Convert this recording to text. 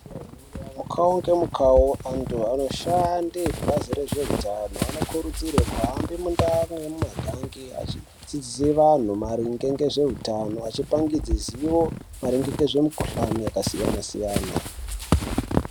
Mukawu nemukawu antu anoshanda kubazi rezvehutano anokurudzirwa kuhambe mundaa nemumagange Achidzidzisw antu maringe nezvehutano achipangudze ruzivo maringe nemikuhlani yakasiyana siyana.